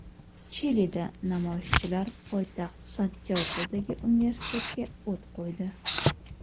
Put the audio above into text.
Chilida namoyishchilar poytaxt Santyagodagi universitetga o‘t qo‘ydi .